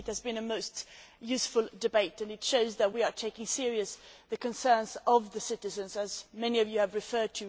I think it has been a most useful debate and it shows that we are taking seriously the concerns of citizens, to which many of you have referred.